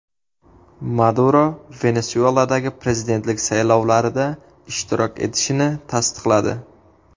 Maduro Venesueladagi prezidentlik saylovlarida ishtirok etishini tasdiqladi.